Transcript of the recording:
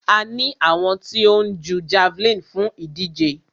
A ní àwọn tí ó ń jú javeline fún ìdíje.